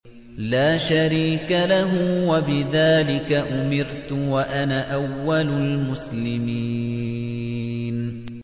لَا شَرِيكَ لَهُ ۖ وَبِذَٰلِكَ أُمِرْتُ وَأَنَا أَوَّلُ الْمُسْلِمِينَ